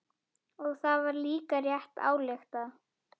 Og það var líka rétt ályktað.